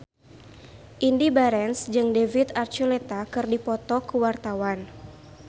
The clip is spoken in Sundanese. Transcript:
Indy Barens jeung David Archuletta keur dipoto ku wartawan